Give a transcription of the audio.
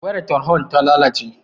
Wayar tarhon ta lalace